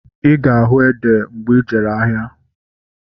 Ịga ahu ede mgbe ijere ahịa